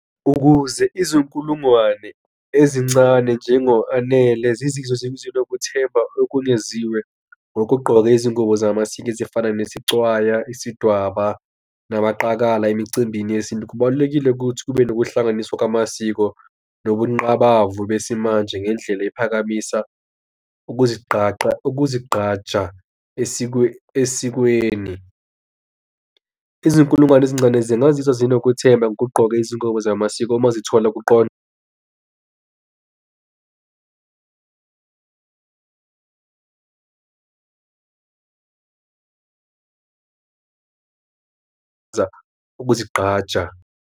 Ukuze izinkulungwane ezincane njengo-Anele zizizwe zinokuthemba okungeziwe ngokugqoka izingubo zamasiko ezifana nesicwaya, isidwaba namaqakala emicimbini yesintu. Kubalulekile ukuthi kube nokuhlanganiswa kwamasiko nokunqabavu besimanje ngendlela ephakamisa ukuzigaqa, ukuzigqaja esikweni. izinkulungwane ezincane zingazuzwa zinokuthena ukugqoka izingubo zamasiko uma zithola ukuzigqaja.